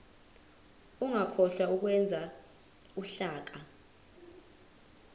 ungakhohlwa ukwenza uhlaka